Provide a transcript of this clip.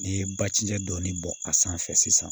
N'i ye bacijɛ dɔɔnin bɔn a sanfɛ sisan